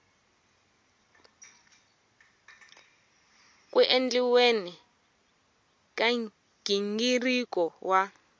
ku endliweni ka nghingiriko wa